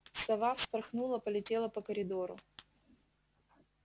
сова вспорхнула полетела по коридору